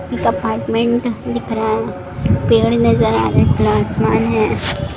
एक अपार्टमेंट दिख रहा है पेड़ नजर आ रहें हैं खुला आसमान है।